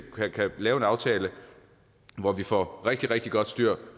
kan lave en aftale hvor vi får rigtig rigtig godt styr